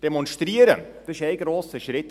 Demonstrieren, das ist ein grosser Schritt.